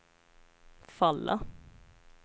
falla